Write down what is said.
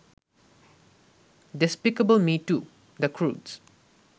despicable Me Two, The ক্রুডস